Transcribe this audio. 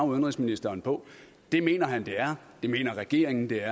udenrigsministeren på det mener han det er det mener regeringen det er